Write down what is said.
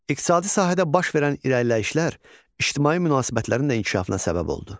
İqtisadi sahədə baş verən irəliləyişlər ictimai münasibətlərin də inkişafına səbəb oldu.